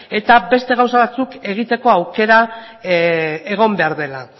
eta beste gauza batzuk egiteko aukera egon behar dela